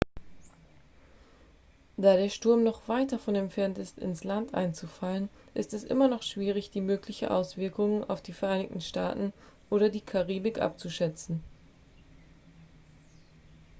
da der sturm noch weit davon entfernt ist ins land einzufallen ist es immer noch schwierig die möglichen auswirkungen auf die vereinigten staaten oder die karibik abzuschätzen